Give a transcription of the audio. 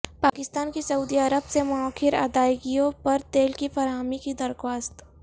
پاکستان کی سعودی عرب سے موخر ادائیگیوں پر تیل کی فراہمی کی درخواست